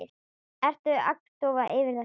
Ertu agndofa yfir þessu?